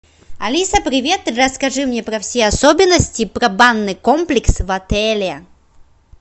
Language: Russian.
алиса привет расскажи мне про все особенности про банный комплекс в отеле